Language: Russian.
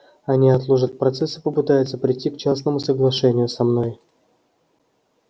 они отложат процесс и попытаются прийти к частному соглашению со мной